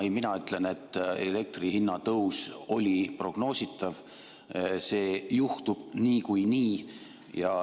Ei, mina ütlen, et elektri hinna tõus oli prognoositav, see juhtub niikuinii.